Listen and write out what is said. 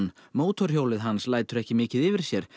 mótorhjólið hans lætur ekki mikið yfir sér